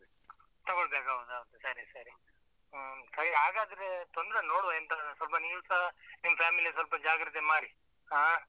ತಗೊಳ್ಬೇಕು ಹೌದು ಹೌದು ಸರಿ ಸರಿ. ಹ್ಮ್ ಹಾಗಾದ್ರೆ ತೊಂದ್ರೆ ಇಲ್ಲ ನೋಡುವ ಎಂತ, ಸ್ವಲ್ಪ ನೀವುಸ ನಿಮ್ಮ್ family ಯನ್ನು ಸ್ವಲ್ಪ ಜಾಗ್ರತೆ ಮಾಡಿ. ಹಾ